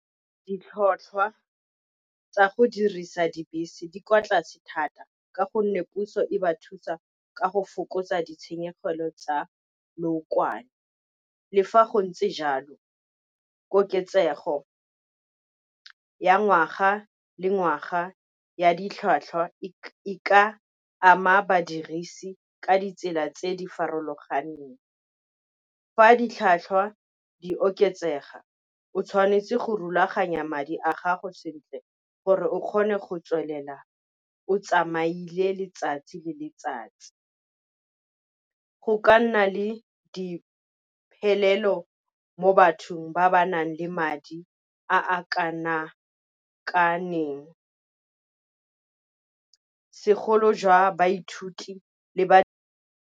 Ditlhotlhwa tsa go dirisa dibese di kwa tlase thata, ka gonne puso e ba thusa ka go fokotsa ditshenyegelo tsa leokwane. Le fa go ntse jalo koketsego ya ngwaga le ngwaga ya ditlhwatlhwa e ka ama badirisi ka ditsela tse di farologaneng. Fa ditlhwatlhwa di oketsega o tshwanetse go rulaganya madi a gago sentle, gore o kgone go tswelela o tsamaile letsatsi le letsatsi. Go ka nna le diphelelo mo bathong ba ba nang le madi a kana segolo jwa baithuti le ba.